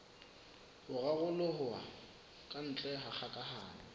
ho raroloha kantle ha kgokahano